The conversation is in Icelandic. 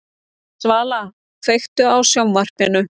Svala, kveiktu á sjónvarpinu.